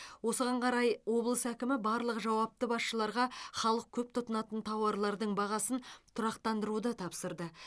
осыған қарай облыс әкімі барлық жауапты басшыларға халық көп тұтынатын тауарлардың бағасын тұрақтандыруды тапсырды